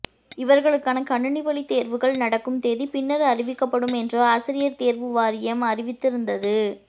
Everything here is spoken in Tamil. இவர்களுக்கான கணினி வழித் தேர்வுகள் நடக்கும் தேதி பின்னர் அறிவிக்கப்படும் என்று ஆசிரியர் தேர்வு வாரியம் அறிவித்து இருந்தது